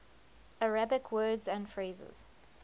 arabic words and phrases